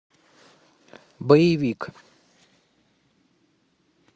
боевик